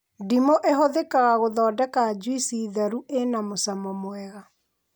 Ndimũ ĩhũthĩkaga gũthondeka njuici theru ĩna mũcamo mwega